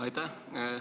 Aitäh!